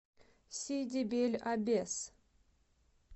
сиди бель аббес